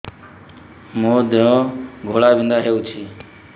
ମୋ ଦେହ ଘୋଳାବିନ୍ଧା ହେଉଛି